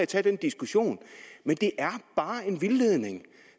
tage den diskussion men det er bare en vildledning